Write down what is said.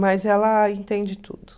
Mas ela entende tudo.